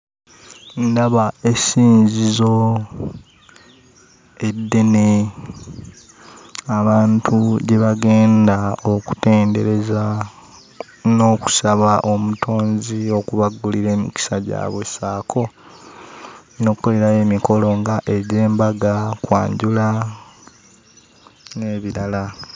Ndaba esinzizo eddene, abantu gye bagenda okutendereza n'okusaba Omutonzi okubaggulira emikisa gyabwe ssaako n'okkolerayo emikolo nga egy'embaga, kwanjula n'ebirala.